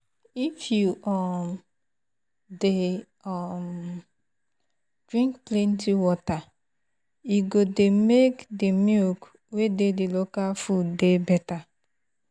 if you um dey um drink plenty water e go dey make the milk wey dey the local food dey better um